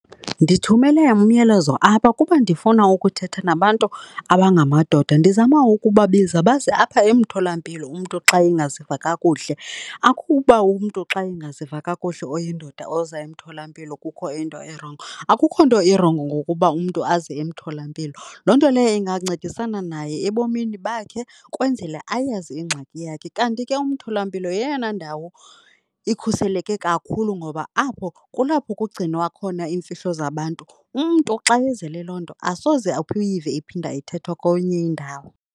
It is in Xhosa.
Ndithumele umyalezo apha kuba ndifuna ukuthetha nabantu abangamadoda ndizama ukubabiza baze apha emtholampilo umntu xa angaziva kakuhle. Akukuba umntu xa engaziva kakuhle oyindoda oza emtholampilo kukho into erongo, akukho nto irongo ngokuba umntu aze emtholampilo. Loo nto leyo ingancedisana naye ebomini bakhe ukwenzela ayazi ingxaki yakhe. Kanti ke umtholampilo yeyona ndawo ikhuseleke kakhulu ngoba apho kulapho kugcinwa khona iimfihlo zabantu. Umntu xa ezele loo nto asoze uyive iphinde ithethwa kwenye indawo.